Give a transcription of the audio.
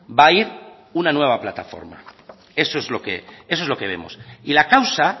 va ir una nueva plataforma eso es lo que vemos y la causa